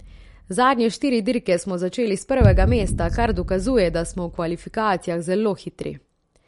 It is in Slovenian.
Zadnje štiri dirke smo začeli s prvega mesta, kar dokazuje, da smo v kvalifikacijah zelo hitri.